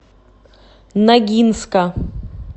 ногинска